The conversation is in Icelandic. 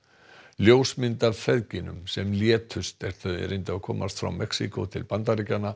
ljósmynd af feðginum sem létust er þau reyndu að komast frá Mexíkó til Bandaríkjanna